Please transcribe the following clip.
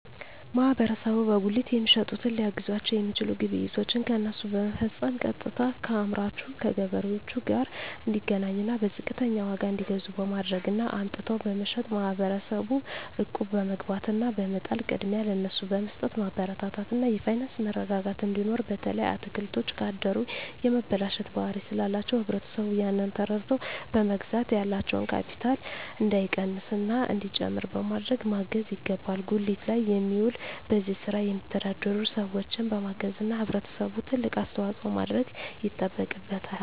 ማህበረሰቡ በጉሊት የሚሸጡትን ሊያግዛቸዉ የሚችለዉ ግብይቶችን ከነሱ በመፈፀም ቀጥታከአምራቹ ከገበሬዎቹ ጋር እንዲገናኙና በዝቅተኛ ዋጋ እንዲገዙ በማድረግ እና አምጥተዉ በመሸጥ ማህበረሰቡ እቁብ በመግባት እና በመጣል ቅድሚያ ለነሱ በመስጠትማበረታታት እና የፋይናንስ መረጋጋት እንዲኖር በተለይ አትክልቶች ካደሩ የመበላሸት ባህሪ ስላላቸዉ ህብረተሰቡ ያንን ተረድተዉ በመግዛት ያላቸዉ ካቢታል እንዳይቀንስና እንዲጨምር በማድረግ ማገዝ ይገባል ጉሊት ላይ የሚዉሉ በዚህ ስራ የሚተዳደሩ ሰዎችን በማገዝና ህብረተሰቡ ትልቅ አስተዋፅኦ ማድረግ ይጠበቅበታል